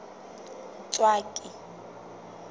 ntswaki